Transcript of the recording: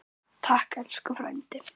Takk elsku frændi.